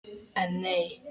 En, nei.